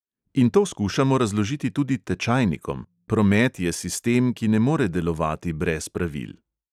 In to skušamo razložiti tudi tečajnikom, promet je sistem, ki ne more delovati brez pravil.